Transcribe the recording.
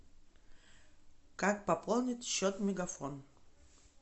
как пополнить счет мегафон